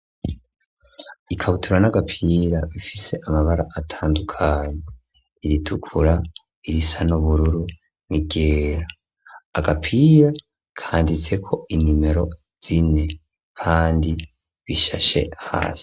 Ikabutura n'agapira ifise amabara atandukanye iritukura irisa n'ubururu n'igera agapira kanditse ko inimero zine kandi bishashe hasi.